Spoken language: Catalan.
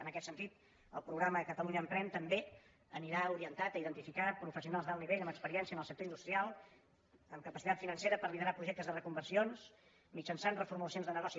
en aquest sentit el programa ca·talunya emprèn també anirà orientat a identificar professionals d’alt nivell amb experiència en el sector industrial amb capacitat financera per liderar projec·tes de reconversions mitjançant reformulacions de ne·goci